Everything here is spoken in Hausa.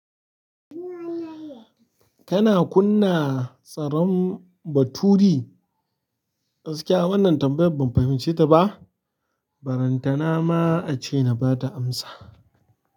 Kana kunna tsaron baturi? Gaskiya wannan tambayar banfahimce ta ba balantana ma nace nabada amsa.